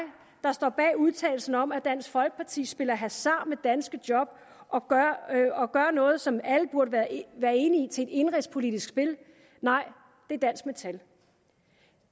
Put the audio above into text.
der står bag udtalelsen om at dansk folkeparti spiller hasard med danske job og gør noget som alle burde være enige i til et indenrigspolitisk spil nej det er dansk metal